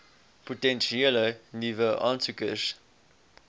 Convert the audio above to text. potensiële nuwe aansoekers